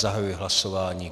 Zahajuji hlasování.